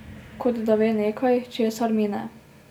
Kot da ve nekaj, česar mi ne.